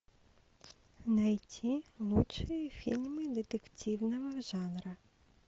найти лучшие фильмы детективного жанра